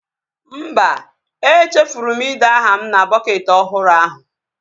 Mba, e chefuru m ide aha m na bọketị ọhụrụ ahụ